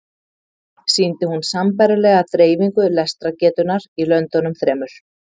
Sýndi hún sambærilega dreifingu lestrargetunnar í löndunum þremur.